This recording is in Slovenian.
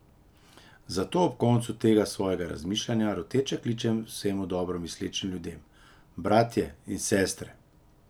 Zato ob koncu tega svojega razmišljanja roteče kličem vsem dobro mislečim ljudem: "Bratje in sestre!